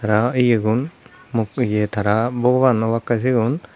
tara ye gun muk ye tara bhogoban obakke sigun.